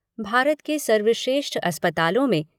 भारत के सर्वश्रेष्ठ अस्पतालों में